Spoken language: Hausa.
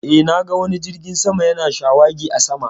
Eh, na ga wani jirgin sama ya na shawagi a sama